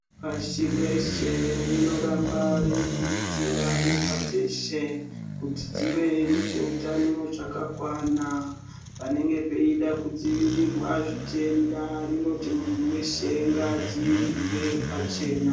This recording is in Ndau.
Pashi reshe rinoramba reikurudzira nyika dzeshe kuti dzive nezveutano zvakakwana, panenge peida kudzivirirwa zvitenda rinoti munhu weshe ngaadziirirwe pachena.